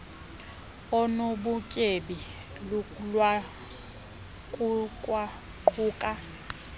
onu butyebi lukwaquka